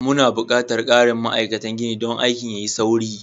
Muna buƙatar ƙarin ma'aikatan gini don aikin ya yi sauri.